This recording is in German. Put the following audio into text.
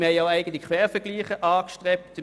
Wir haben auch eigene Quervergleiche angestellt.